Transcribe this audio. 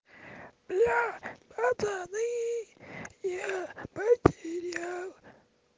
сериал